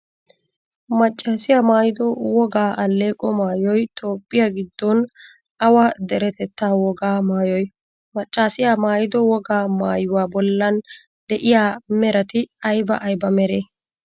Maccaasiya maayido wogaa alleeqo maayoyi Toophphiyaa giddon awa deretettaa wogaa maayoy? Maccaasiya maayido wogaa maayuwaa bollan de'iyaa merati ayba ayba meree?